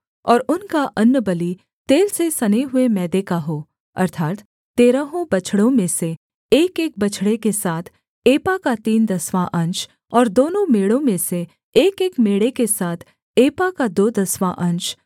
और उनका अन्नबलि तेल से सने हुए मैदे का हो अर्थात् तेरहों बछड़ों में से एकएक बछड़े के साथ एपा का तीन दसवाँ अंश और दोनों मेढ़ों में से एकएक मेढ़े के साथ एपा का दो दसवाँ अंश